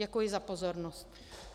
Děkuji za pozornost.